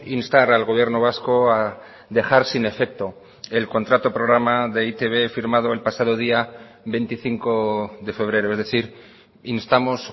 instar al gobierno vasco a dejar sin efecto el contrato programa de e i te be firmado el pasado día veinticinco de febrero es decir instamos